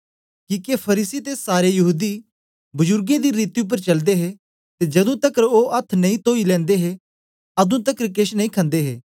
किके फरीसी ते सारे यहूदी बजुर्गें दी रीति उपर चलदे हे ते जदू तकर ओ अथ्थ नेई तोई लैंदे हे अदूं तकर केछ नेई खन्दे हे